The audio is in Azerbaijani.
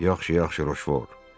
Yaxşı, yaxşı Roşvor.